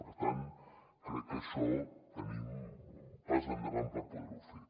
per tant crec que en això anem un pas endavant per poder ho fer